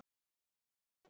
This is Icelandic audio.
Þeirra er skömmin.